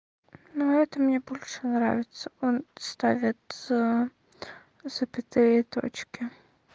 но это мне больше нравится он ставит ээ запятые и точки